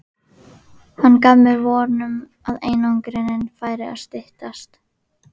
Hann gaf mér von um að einangrunin færi að styttast.